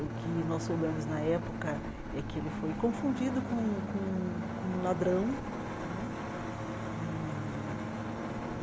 O que nós soubemos na época é que ele foi confundido com um com um com um ladrão né e.